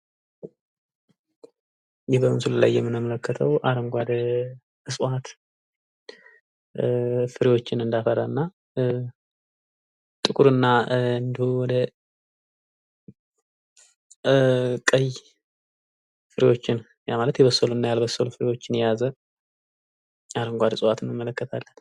ይህ በምስሉ ላይ የምንመለከተው አረጓዴ እፅዋት ፍሬዎችን እንዳፈራና ጥቁርና እንደ ቀይ ፍሬዎችን ያ ማለት የበሰሉና ያልበሰሉ ፍሬዎችን የያዘ አረጓዴ እፅዋቶችን እንመለከታለን።